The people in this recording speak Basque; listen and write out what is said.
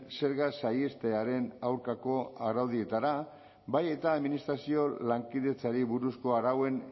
zerga saihestearen aurkako araudietara bai eta administrazio lankidetzari buruzko arauen